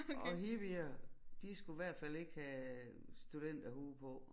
Og hippier de skulle hvert fald ikke have studenterhue på